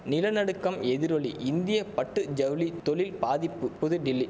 நில நடுக்கம் எதிரொலி இந்திய பட்டு ஜவுளி தொழில் பாதிப்பு புதுடில்லி